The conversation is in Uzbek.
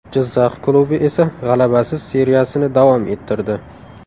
Jizzax klubi esa g‘alabasiz seriyasini davom ettirdi.